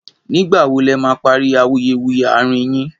nígbà wò lè má parí awuyewuye arin yín